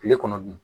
Kile kɔnɔ